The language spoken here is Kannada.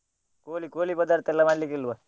ಕೋಳಿ ಕೋಳಿ ಪದಾರ್ಥ ಎಲ್ಲ ಮಾಡಲಿಕಿಲ್ವ?